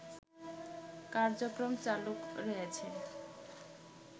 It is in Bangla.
কার্যক্রম চালু রয়েছে